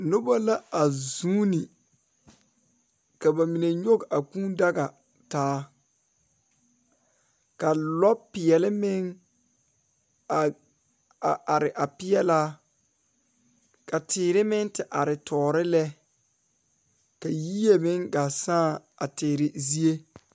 Noba la a zuune ka bamine nyɔge a kuu daga taa ka lɔ peɛle meŋ are a are peɛlaa ka teere meŋ te are tɔɔre lɛ ka yie meŋ gaa sãã a teere zie.